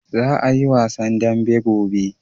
Za a yi wasan dambe gobe.